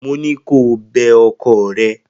Mo ní kó o bẹ ọkọ rẹ!